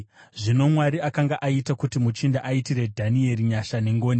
Zvino Mwari akanga aita kuti muchinda aitire Dhanieri nyasha nengoni,